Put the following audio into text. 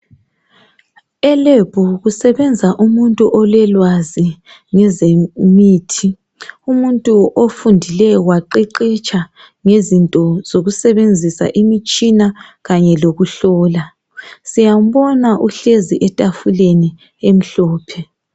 Elab kusebenza umuntu ololwazi ngemithi umuntu ofundileyo waqeqetsha ngezemitshina kanye lokuhlola siyambona uhlezi etafuleni elimhlophe.